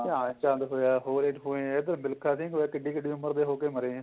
ਧਿਆਨ ਚੰਦ ਹੋਇਆ ਹੋਰ ਇੱਥੋ ਮਿਲਖਾ ਸਿੰਘ ਹੋਇਆਕਿਡੀ ਕਿਡੀ ਉਮਰ ਦੇ ਹੋ ਕੇ ਮਰੇ ਏ